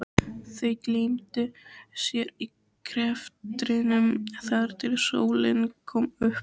Þau gleymdu sér í greftrinum þar til sólin kom upp.